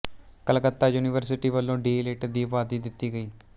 Calcutta university ਵੱਲੋਂ D litt ਦੀ ਉਪਾਧੀ ਦਿੱਤੀ ਗਈ